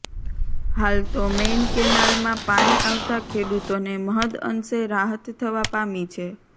હાલ તો મેઈન કેનાલમાં પાણી આવતા ખેડૂતોને મહદઅંશે રાહત થવા પામી છે